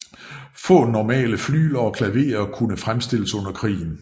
Få normale flygler og klaverer kunne fremstilles under krigen